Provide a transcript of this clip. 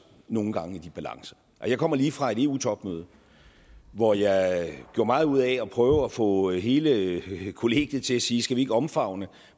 nogle gange i balance jeg kommer lige fra et eu topmøde hvor jeg gjorde meget ud af at prøve at få hele kollegiet til at sige skal vi ikke omfavne